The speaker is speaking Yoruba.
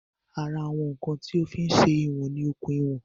Ara àwọn ǹkan tí o fí ń se ìwọ̀n ni okùn ìwọ̀n